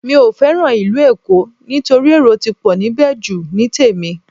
Mi ò fẹ́ràn ìlú Èkó nítorí èrò ti pọ̀ níbẹ̀ jù ní tèmi